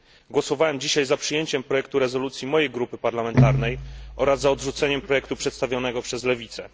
Głosowałem dzisiaj za przyjęciem projektu rezolucji mojej grupy parlamentarnej oraz za odrzuceniem projektu przedstawionego przez lewicę.